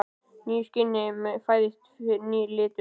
Í nýju skini fæðist nýr litur.